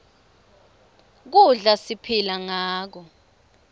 kudla siphila ngako